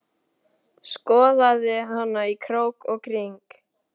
Skoðaði hana í krók og kring.